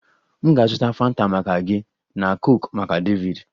M ga-azụta Fanta maka gị na coke maka David